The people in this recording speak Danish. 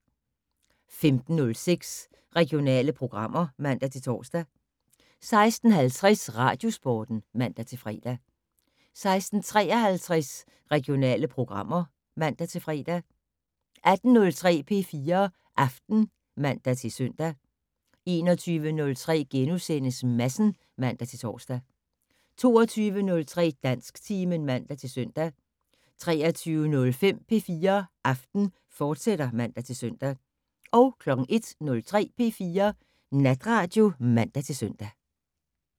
15:06: Regionale programmer (man-tor) 16:50: Radiosporten (man-fre) 16:53: Regionale programmer (man-fre) 18:03: P4 Aften (man-søn) 21:03: Madsen *(man-tor) 22:03: Dansktimen (man-søn) 23:05: P4 Aften, fortsat (man-søn) 01:03: P4 Natradio (man-søn)